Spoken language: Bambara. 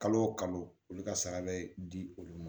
Kalo o kalo olu ka sara bɛ di olu ma